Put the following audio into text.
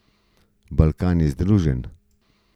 Balkan je združen.